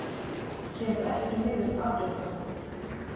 Kemur ekki niður afréttara.